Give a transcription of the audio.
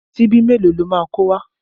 Ṣíbí mélòó lo máa kó wá?